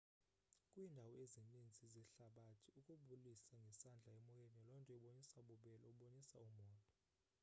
kwiindawo ezininzi zehlabathi ukubulisa ngesandla emoyeni lonto ibonisa ububele ubonisa u molo